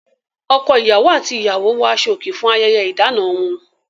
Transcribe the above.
Ọkọ-ìyàwó àti ìyàwó wọ aṣọòkè fún ayẹyẹ ìdáná wọn.